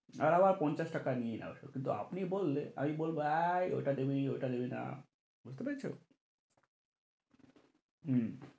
আর আবার পঞ্চাশ টাকা নিয়ে নেবে কিন্তু আপনি বললে এই ওইটা দিবি ওইটা দিবি না বুঝতে পেরেছ? হম